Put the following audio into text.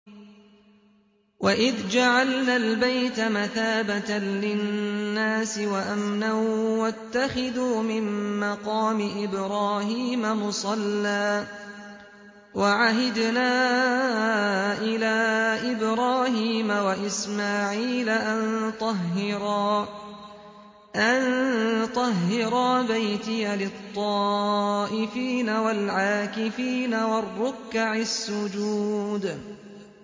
وَإِذْ جَعَلْنَا الْبَيْتَ مَثَابَةً لِّلنَّاسِ وَأَمْنًا وَاتَّخِذُوا مِن مَّقَامِ إِبْرَاهِيمَ مُصَلًّى ۖ وَعَهِدْنَا إِلَىٰ إِبْرَاهِيمَ وَإِسْمَاعِيلَ أَن طَهِّرَا بَيْتِيَ لِلطَّائِفِينَ وَالْعَاكِفِينَ وَالرُّكَّعِ السُّجُودِ